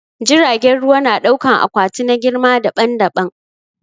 Jiragen ruwa na dauƙan akwati na girma daɓan-daɓan.